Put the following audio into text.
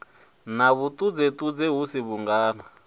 na vhuṱudzeṱudze hu si vhungana